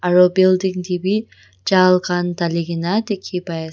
aro building tae bi jal khan dhalikaena dikhipaiase.